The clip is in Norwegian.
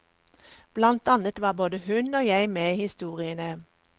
Blant annet var både hun og jeg med i historiene.